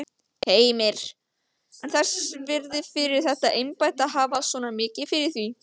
Heimir: En þess virði fyrir þetta embætti að hafa svona mikið fyrir því?